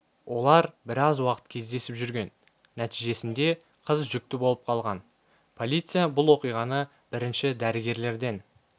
олар біраз уақыт кездесіп жүрген нәтижесінде қыз жүкті болып қалған полиция бұл оқиғаны бірінші дәрігерлерден